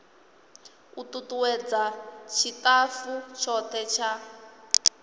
u tutuwedza tshitafu tshothe tsha